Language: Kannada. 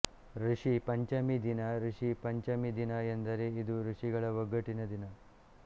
ಋಷಿ ಪಂಚಮಿ ದಿನ ರಿಷಿ ಪಂಚಮಿ ದಿನ ಎಂದರೆ ಐದು ಋಷಿಗಳ ಒಗ್ಗಟ್ಟಿನ ದಿನ